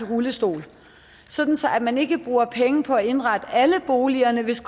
rullestol sådan at man ikke bruger penge på at indrette alle boligerne hvis